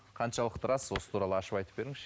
қаншалықты рас осы туралы ашып айтып беріңізші